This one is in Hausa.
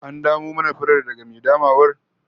An damo mana furar daga mai damawar?